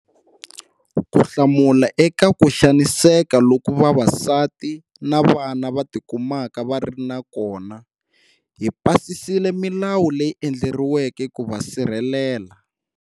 Ku hlamula eka ku xaniseka loku vavasati na vana va tikumaka va ri na kona, hi pasisile milawu leyi endleriweke ku va sirhelela.